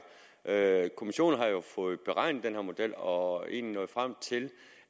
er er kommissionen har jo fået beregnet den her model og er egentlig nået frem til